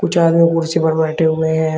कुछ आदमी कुर्सी पर बैठे हुए हैं।